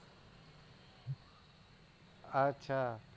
અચ્છા